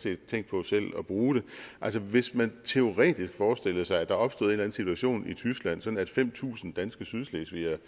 set tænkt på selv at bruge det altså hvis man teoretisk forestillede sig at der opstod en eller anden situation i tyskland sådan at fem tusind danske sydslesvigere